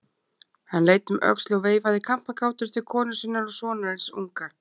Hann leit um öxl og veifaði kampakátur til konu sinnar og sonarins unga.